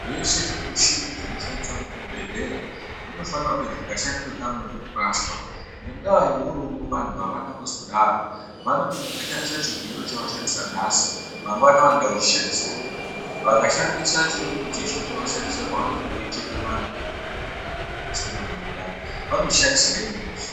Zveshe zvimishini zvinoshandiswa kuzvibhehlera zvinofanira kuti zvikashandiswa kamwe zvotorashwa. Ngendaa yourombo vantu avana kuzodaro. Vanoti vakashandisa chigero chavashandisa nhasi mangwana vanoda kuchishandisazve. Vakashandisa chimweni chisvo chavashandisa pavanenge veicheka vantu vanenge veida kubudiswe mwana mundani, vanochishandisazve rimweni zuwa.